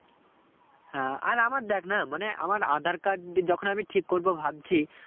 হ্যাঁ আর আমার দেখনা মানে আমার আঁধার card যখন আমি ঠিক করবো ভাবছি